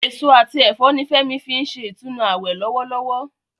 Èso àti ẹ̀fọ́ ni Fẹ́mi fi ń ṣe ìtúnu àwẹ̀ lọ́wọ́lọ́wọ́